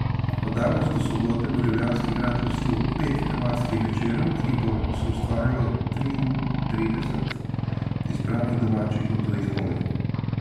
Od danes do sobote bo ljubljanski grad gostil pet tematskih večerov, ki jih bo soustvarilo triintrideset izbranih domačih in tujih komikov.